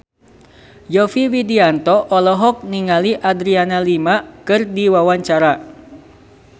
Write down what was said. Yovie Widianto olohok ningali Adriana Lima keur diwawancara